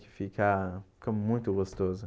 Que fica fica muito gostoso.